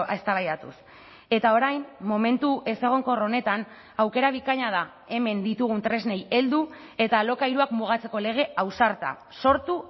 eztabaidatuz eta orain momentu ezegonkor honetan aukera bikaina da hemen ditugun tresnei heldu eta alokairuak mugatzeko lege ausarta sortu